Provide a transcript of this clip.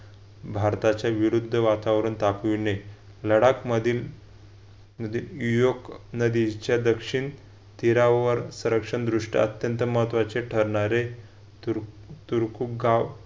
भारताचे विरुद्ध वातावरण तापविणे लडाखमधील युयोर्क नदीच्या दक्षिण तीरावर संरक्षण दृष्ट्या अत्यंत महत्त्वाचे ठरणारे चिरकुट गाव